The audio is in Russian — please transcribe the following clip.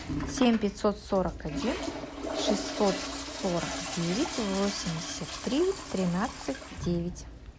семь пятьсот сорок один шестьсот сорок девять восемьдесят три тринадцать девять